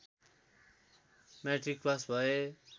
matric pass भए